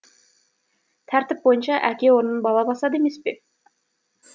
тәртіп бойынша әке орнын бала басады емес пе